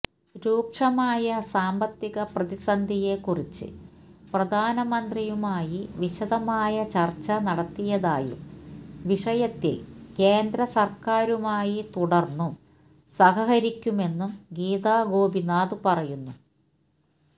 രൂക്ഷമായ സാമ്പത്തിക പ്രതിസന്ധിയെക്കുറിച്ച് പ്രധാനമന്ത്രിയുമായി വിശദമായ ചർച്ച നടത്തിയതായും വിഷയത്തില് കേന്ദ്ര സര്ക്കാരുമായി തുടര്ന്നും സഹകരിക്കുമെന്നും ഗീതാ ഗോപിനാഥ് പറയുന്നു